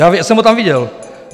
Já jsem ho tam viděl.